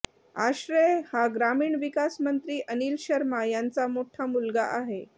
आश्रय हा ग्रामीण विकास मंत्री अनिल शर्मा यांचा मोठा मुलगा आहे